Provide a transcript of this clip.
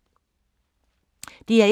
DR1